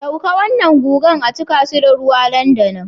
Dauke wannan guga a cika shi da ruwa nan da nan